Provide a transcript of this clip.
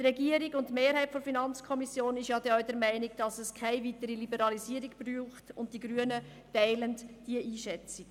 Die Regierung und die FiKo-Mehrheit sind denn auch der Meinung, es brauche keine weitere Liberalisierung, und die Grünen teilen diese Einschätzung.